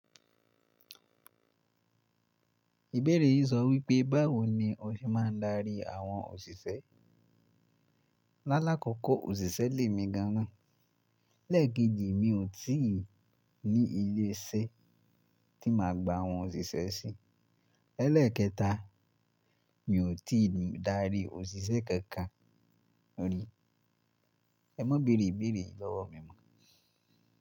Ìbéèrè yìí sọ wípé báwo ni o ṣe máa ń darí àwọn òṣìṣẹ́. Lálákọkọ òṣìṣẹ́ le mi gan an, leẹ́ẹ̀keji mi ò tí ì ní ilé iṣẹ́ tí máa gba àwọn òṣìṣẹ́ sí, elẹ́ẹ̀kẹta mi ò tí ì darí òṣìṣẹ́ kankan ri. Ẹ má béèrè ìbéèrè yìí lọ́wọ́ mi mọ.